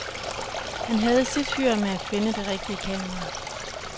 Han havde sit hyr med at finde det rigtige kamera.